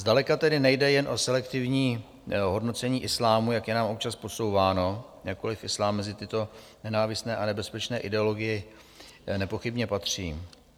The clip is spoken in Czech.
Zdaleka tedy nejde jen o selektivní hodnocení islámu, jak je nám občas podsouváno, jakkoliv islám mezi tyto nenávistné a nebezpečné ideologie nepochybně patří.